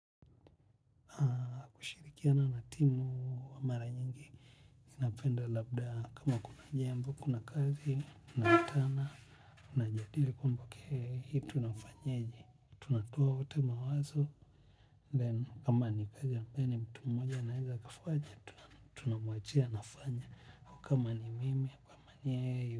Nashirikiana na timu wa mara nyingi. Napenda labda kama kuna jambo, kuna kazi, tunakutana, na jadili kumbuke, hii tunafanyeje. Tunatoa wote mawazo, then ama ni pia ni, mtu mmoja anaweza kufanya, tunamwachia anafanya. Kama ni mimi, kama ni yeye.